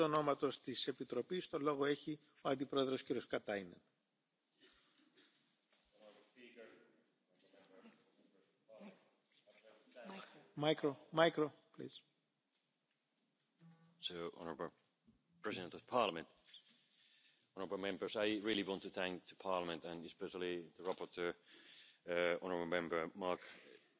you know. Besides, the Plastics Strategy also features action to reduce pollution from microplastics, the legislative proposal on port reception facilities to tackle sea based marine litter and the preparation of new labelling rules to ensure that consumers get clear information about biodegradable and compostable plastics. Action is ongoing on all these fronts. Regarding the second question the oral question submitted by the Parliament in relation to the interface between chemical